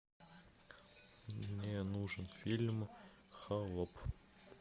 мне нужен фильм холоп